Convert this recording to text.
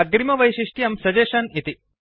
अग्रिमवैशिष्ट्यं suggestion इति